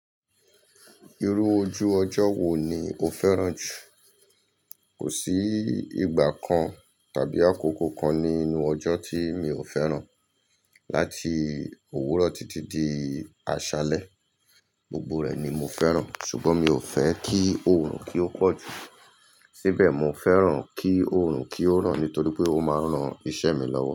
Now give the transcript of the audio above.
Irú ojú ọjọ́ wo ni o fẹ́ràn jù? Kò sí ìgbà kan tàbí àkókò kan nínú ọjọ́ tí mi ò fẹ́ràn. Láti òwúrọ̀ títí di àṣálẹ́, gbogbo rẹ̀ ni mo fẹ́ràn. Ṣùgbọ́n mi ò fẹ́ kí oòrùn kí ó pọ̀ jù. Síbẹ̀ mo fẹ́ràn kí oòrùn kí ó ràn nítorí pé ó máa ń ran iṣẹ́ mi lọ́wọ́